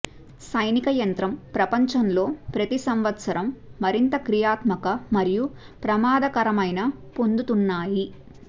సైనిక యంత్రం ప్రపంచంలో ప్రతి సంవత్సరం మరింత క్రియాత్మక మరియు ప్రమాదకరమైన పొందుతున్నాయి